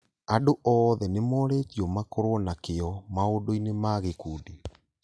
Andũ oothe nĩmoretio makorwo na kĩo maũndũ-inĩ ma gĩkundi